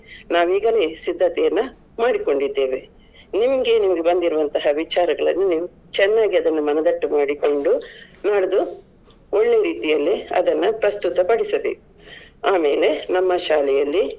ನಾವೀಗಲೇ ಸಿದ್ಧತೆಯನ್ನ ಮಾಡಿ ಕೊಂಡಿದ್ದೇವೆ. ನಿಮ್ಮ್ಗೆ ಬಂದಿರುವ ನಿಮ್ಮ ವಿಚಾರಗಳನ್ನು ನೀವು ಚೆನ್ನಾಗಿ ಅದನ್ನು ಮನದಟ್ಟು ಮಾಡಿಕೊಂಡು ನಾಡ್ದು ಒಳ್ಳೆಯ ರೀತಿಯಲ್ಲಿ ಅದನ್ನು ಪ್ರಸ್ತುತ ಪಡಿಸಬೇಕು. ಆಮೇಲೆ ನಮ್ಮ ಶಾಲೆಯಲ್ಲಿ.